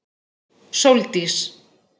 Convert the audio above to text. Sóldís